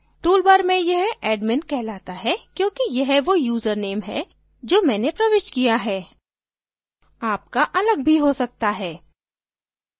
tool bar में यह admin कहलाता है क्योंकि यह वो यूज़रनेम है जो मैंने प्रविष्ट किया है आपका अलग भी हो सकते हैं